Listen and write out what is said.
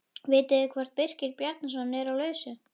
Vitið þið hvort Birkir Bjarnason er á lausu?